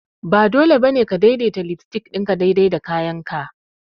Ba dole ba ne ka daidaita lipstick ɗinka daidai da kayanka ba!